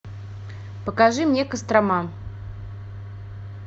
покажи мне кострома